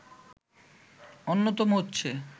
অন্যতম হচ্ছে